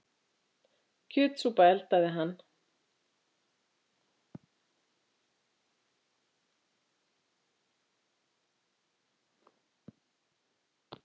Kjötsúpuna eldaði hann.